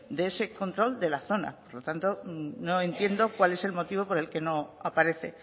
de ese control de la zona por lo tanto no entiendo cuál es el motivo por el que no aparece